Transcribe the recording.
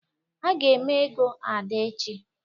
A ga eme ego Ada echi